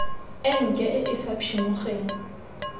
enke e e sa phimogeng